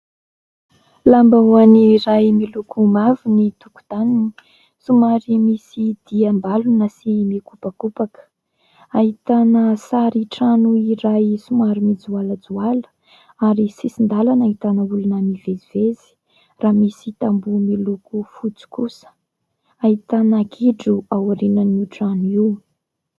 Lambahoany iray miloko mavo ny tokotaniny, somary misy diam-balona sy mikopakopaka, ahitana sary trano iray somary mijoalajoala ary sisin-dalana ahitana olona mivezivezy raha misy tamboho miloko fotsy kosa, ahitana gidro ao aorian'io trano io.